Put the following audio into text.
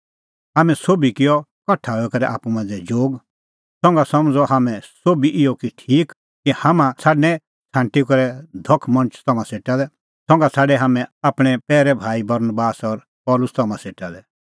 हाम्हैं सोभी किअ कठा हई आप्पू मांझ़ै जोग संघा समझ़अ हाम्हैं सोभी इहअ ठीक कि हाम्हां छ़ाडणैं छ़ांटी करै धख मणछ तम्हां सेटा लै संघा छ़ाडै हाम्हैं आपणैं पैरै भाई बरनबास और पल़सी तम्हां सेटा लै